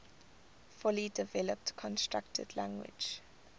fully developed constructed language